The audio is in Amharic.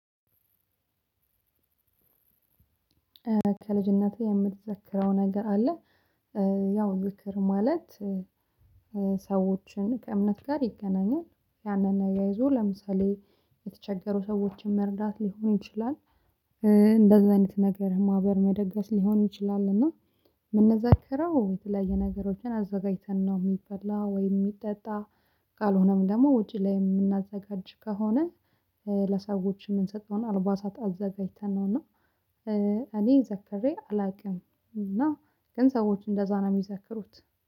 ከልጅነቴ የምትዘክረው ነገር አለ? ያው ዝክር ማለት ሰዎችን ከእምነት ጋር ይገናኛል ያንን ነገር ይዞ ለምሳሌ የተቸገሩ ሰዎችን መርዳት ሊሆን ይችላል። እንደዛ አይነት ነገር ማህበር መደገስ ሊሆን ይችላል። እና የምንዘከረው የተለያየ ነገሮችን አዘጋጅተን ነው የሚፈላ ወይ የሚጠጣ ካልሆነም ደግሞ ውጪ ላይ የምናዘጋጅ ከሆነ። ለሰዎች የምንሰጠውን አልባሳት አዘጋጅተን ነው። እና እኔ ዘክሬ አላውቅም። እና ግን ሰዎች እንደዛ ነው የሚዘክሩት።